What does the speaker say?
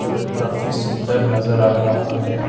ये काफी सुंदर नजर आ रहा है।